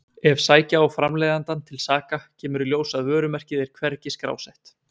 Ef sækja á framleiðandann til saka kemur í ljós að vörumerkið er hvergi skrásett.